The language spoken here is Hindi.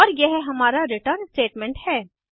और यह हमारा रिटर्न स्टेटमेंट है